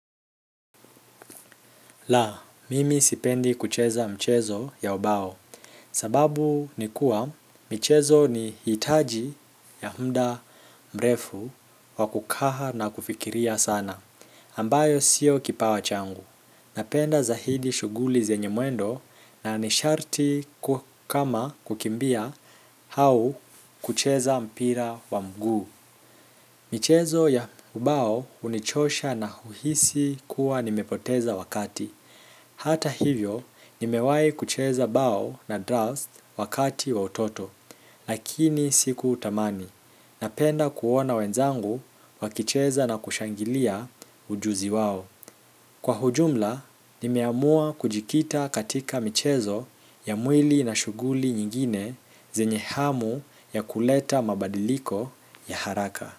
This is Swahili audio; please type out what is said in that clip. La, mimi sipendi kucheza mchezo ya ubao, sababu nikuwa mchezo ni hitaji ya muda mrefu wa kukaa na kufikiria sana. Ambayo sio kipawa changu, napenda zaidi shughuli zenye mwendo na ni sharti kama kukimbia au kucheza mpira wa mguu. Michezo ya ubao, hunichosha na huhisi kuwa nimepoteza wakati hata hivyo, nimewai kucheza bao na draft wakati wa utoto, lakini sikutamani. Napenda kuona wenzangu wakicheza na kushangilia ujuzi wao. Kwa ujumla, nimeamua kujikita katika michezo ya mwili na shughuli nyingine zenye hamu ya kuleta mabadiliko ya haraka.